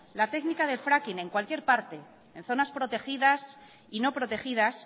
la técnica del fracking en cualquier parte en zonas protegidas y no protegidas